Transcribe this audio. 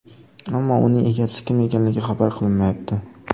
Ammo uning egasi kim ekanligi xabar qilinmayapti.